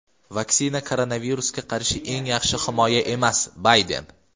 Vaksina koronavirusga qarshi eng yaxshi himoya emas – Bayden.